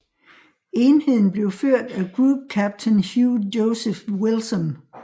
Enheden blev ført af Group Captain Hugh Joseph Wilson